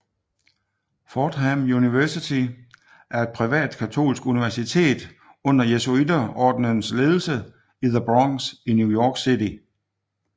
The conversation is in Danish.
Fordham University er et privat katolsk universitet under jesuiterordenens ledelse i the Bronx i New York City